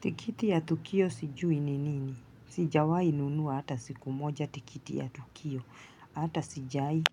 Tikiti ya Tukio sijui ni nini. Sijawahi nunua hata siku moja tikiti ya Tukio hata sijawahi.